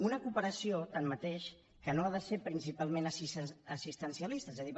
una cooperació tanmateix que no ha de ser principalment assistencialista és a dir